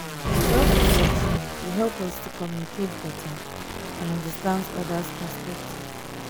self-reflection dey help us to communicate beta and understand oda's perspectives.